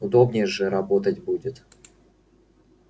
удобнее же работать будет